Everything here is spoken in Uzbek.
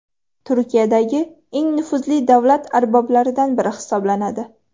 Turkiyadagi eng nufuzli davlat arboblaridan biri hisoblanadi.